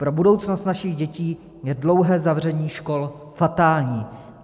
Pro budoucnost našich dětí je dlouhé zavření škol fatální.